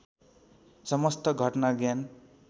समस्त घटना ज्ञान